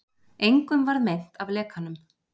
Engum varð meint af lekanum